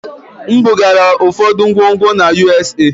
M bugara ụfọdụ ngwongwo na USA.